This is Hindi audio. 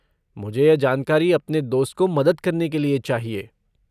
मुझे यह जानकारी अपने दोस्त को मदद करने के लिए चाहिए।